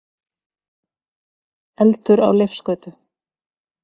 Eldur á Leifsgötu